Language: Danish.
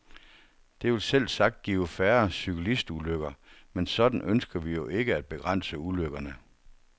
Det vil selvsagt give færre cyklistulykker, men sådan ønsker vi jo ikke at begrænse ulykkerne.